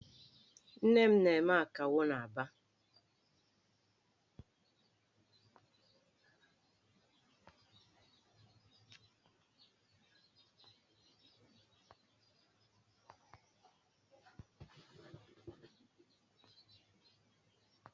Nne m na-eme Akawo n'Aba.